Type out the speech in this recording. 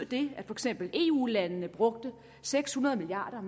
det at for eksempel eu landene brugte seks hundrede milliard